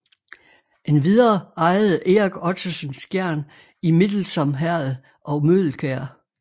Endvidere ejede Erik Ottesen Skjern i Middelsom Herred og Møgelkjær